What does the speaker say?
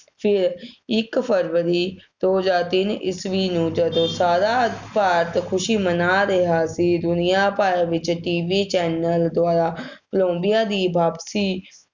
ਫੇਰ ਇੱਕ ਫਰਵਰੀ ਦੋ ਹਜ਼ਾਰ ਤਿੰਨ ਈਸਵੀ ਨੂੰ ਜਦੋਂ ਸਾਰਾ ਭਾਰਤ ਖੁਸ਼ੀ ਮਨਾ ਰਿਹਾ ਸੀ, ਦੁਨੀਆ ਭਰ ਵਿੱਚ TV channel ਦੁਆਰਾ ਕੋਲੰਬੀਆ ਦੀ ਵਾਪਸੀ,